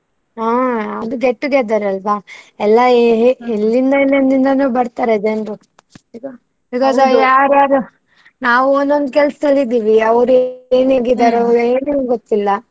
ಹಾ ಅದು get together ಅಲ್ವಾ. ಎಲ್ಲಾ ಎಲ್ಲಿಂದ ಎಲ್ಲಿಂದನೋ ಬರ್ತಾರೆ ಜನ್ರು. ಈಗ ಯಾರು ಯಾರೋ ನಾವು ಒಂದ್ ಒಂದ್ ಕೆಲ್ಸದಲ್ಲಿ ಇದ್ದೀವಿ. ಅವ್ರು ಏನು ಗೊತ್ತಿಲ್ಲ.